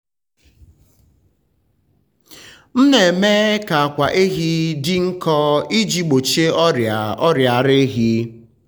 m na-eme ka akwa ehi dị nkọ iji gbochie ọrịa ọrịa ara ehi.